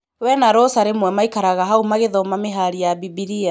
Wee na Rosa rĩmwe maikaraga hau magithoma mĩhari ya Mbimbiria.